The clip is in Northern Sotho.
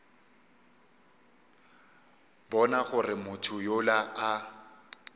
bona gore motho yola a